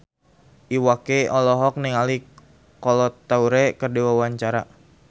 Iwa K olohok ningali Kolo Taure keur diwawancara